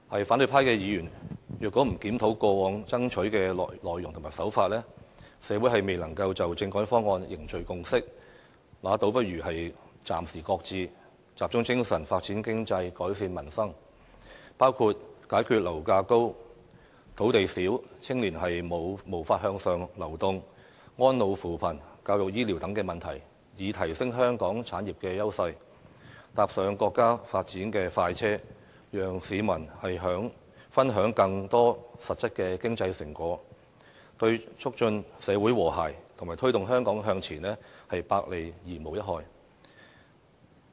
反對派議員若不檢討過往爭取的內容和手法，社會未能就政改方案凝聚共識，倒不如暫時擱置，集中精神，發展經濟，改善民生，包括解決樓價高、土地少、青年無法向上流動、安老扶貧、教育醫療等問題，以提升香港產業優勢，搭上國家發展的快車，讓市民分享更多實質的經濟成果，對促進社會和諧及推動香港向前，百利而無一害。